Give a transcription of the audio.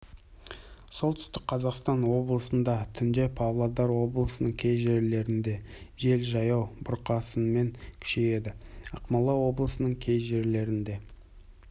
солтүстік қазақстан облысында түнде павлодар облысының кей жерлерінде жел жаяу бұрқасынмен күшейеді ақмола облысының кей жерлерінде